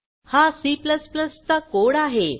हा C चा code आहे